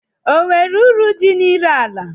O nwere uru dị n'ire ala?